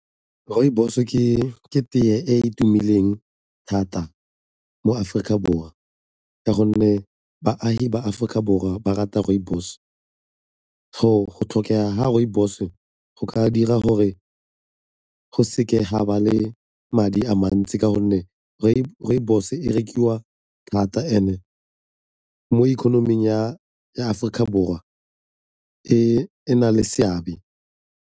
Rooibos-o ke teye e e tumileng thata mo Aforika Borwa ka gonne baagi ba Aforika Borwa ba rata rooibos. Go tlhokega ga rooibos-o go ka dira gore go seke ga ba le madi a mantsi ka gonne rooibos e rekiwa thata and-e mo economy ya Aforika Borwa e na le seabe.